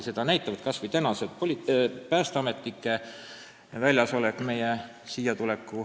Seda näitab kas või tänane päästeametnike väljasolek siin maja ees.